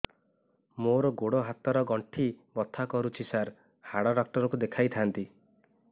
ମୋର ଗୋଡ ହାତ ର ଗଣ୍ଠି ବଥା କରୁଛି ସାର ହାଡ଼ ଡାକ୍ତର ଙ୍କୁ ଦେଖାଇ ଥାନ୍ତି